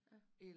Ja